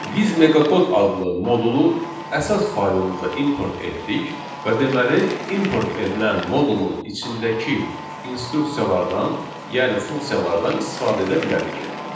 Biz meqakod adlı modulu əsas faylımıza import etdik və deməli, import edilən modulun içindəki instruksiyalardan, yəni funksiyalardan istifadə edə bilərik.